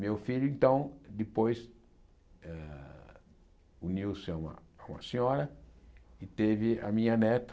Meu filho, então, depois ah uniu-se a a uma senhora e teve a minha neta.